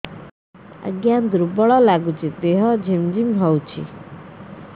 ଆଜ୍ଞା ଦୁର୍ବଳ ଲାଗୁଚି ଦେହ ଝିମଝିମ ହଉଛି